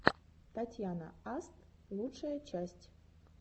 татьяна аст лучшая часть